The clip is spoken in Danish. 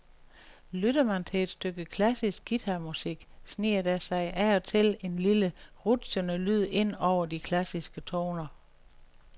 Lytter man til et stykke klassisk guitarmusik, sniger der sig af og til en lille rutschende lyd ind over de klassiske toner.